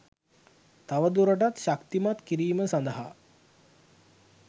තවදුරටත් ශක්තිමත් කිරීම සඳහා